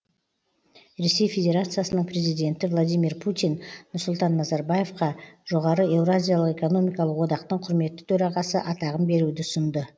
ресей федерациясының президенті владимир путин нұрсұлтан назарбаевқа жоғары еуразиялық экономикалық одақтың құрметті төрағасы атағын беруді ұсынды